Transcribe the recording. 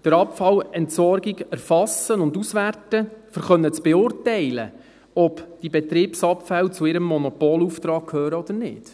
für die Abfallentsorgung erfassen und auswerten müssen, um beurteilen zu können, ob die Betriebsabfälle zu ihrem Monopolauftrag gehören oder nicht.